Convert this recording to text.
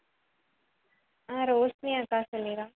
அஹ் ரோஷ்னி அக்கா சொல்லிதான்